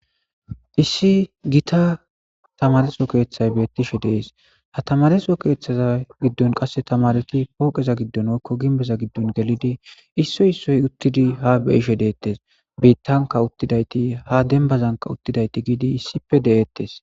Issi gita tamareso keeththay beettishe dees ha tamareso keeththaza giddon qasse tamareki pooqeza giddon woykko ginbeza giddon gelidi issoy issoy uttidi ha beishe deettes biittanka uttidayti ha dembazanka uttidayti giidi issipe de'ettes.